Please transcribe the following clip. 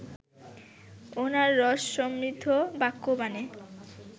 উনার রসসমৃদ্ধ বাক্যবাণে